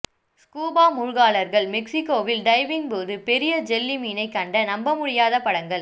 scuba மூழ்காளர்கள் மெக்ஸிக்கோவில் diving போது பெரிய ஜெல்லி மீனை கண்ட நம்பமுடியாத படங்கள்